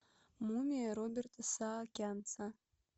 мумия роберта саакянца